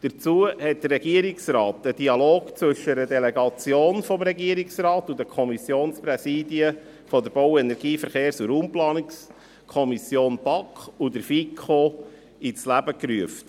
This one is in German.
Dazu hat der Regierungsrat einen Dialog zwischen einer Delegation des Regierungsrates und den Kommissionspräsidien der BaK und der FiKo ins Leben gerufen.